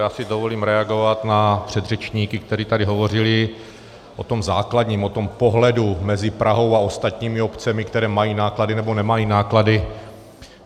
Já si dovolím reagovat na předřečníky, kteří tady hovořili o tom základním, o tom pohledu mezi Prahou a ostatními obcemi, které mají náklady nebo nemají náklady.